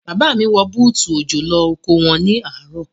Bàbá mi wọ bútù òjò lọ oko wọn ní àárọ̀.